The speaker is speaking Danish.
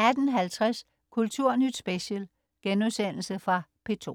18.50 Kulturnyt Special.* Genudsendelse fra P2